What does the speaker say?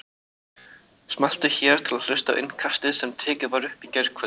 Smelltu hér til að hlusta á Innkastið sem tekið var upp í gærkvöldi